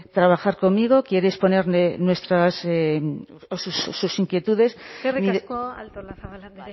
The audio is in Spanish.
trabajar conmigo quiere disponer de nuestras o sus inquietudes eskerrik asko artolazabal andrea